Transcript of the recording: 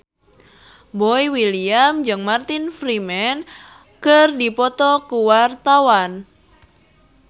Boy William jeung Martin Freeman keur dipoto ku wartawan